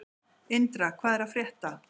Indra, hvað er að frétta?